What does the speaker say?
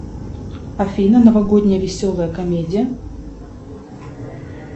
афина новогодняя веселая комедия